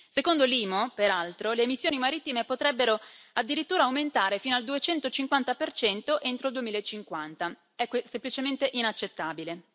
Secondo l'IMO, peraltro, le emissioni marittime potrebbero addirittura aumentare fino al 250 entro il 2050. È semplicemente inaccettabile!